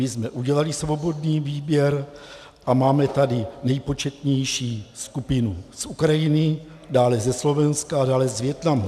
My jsme udělali svobodný výběr a máme tady nejpočetnější skupinu z Ukrajiny, dále ze Slovenska a dále z Vietnamu.